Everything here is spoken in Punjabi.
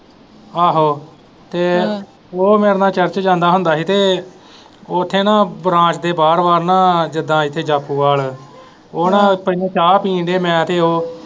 ਆਹੋ ਤੇ ਉਹ ਮੇਰੇ ਨਾਲ church ਜਾਂਦਾ ਹੁੰਦਾ ਸੀ ਤੇ ਉੱਥੇ ਨਾ ਬਰਾਂਡੇ ਦੇ ਬਾਹਰ ਬਾਹਰ ਨਾ ਜਿੱਦਾਂ ਇੱਥੇ ਜਾਪੋਵਾਲ ਉਹ ਨਾ ਚਾਹ ਪੀਣ ਦੇ ਮੈਂ ਤੇ ਉਹ।